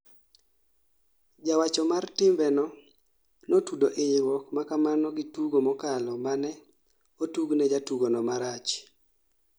Jawacho mar timbeno notudo inyruok makamano gi tugo mokalo mane otugne jatugo no marach